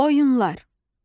Oyunlar.